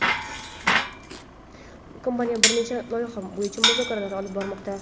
Kompaniya bir nechta loyiha bo‘yicha muzokaralar olib bormoqda.